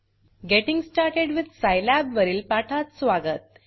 getting started with syllabus वरील पाठात स्वागत